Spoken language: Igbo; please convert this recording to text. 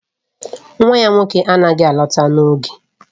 Nwa ya nwoke anaghị alọta n'oge